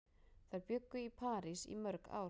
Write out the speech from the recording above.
Þær bjuggu í París í mörg ár.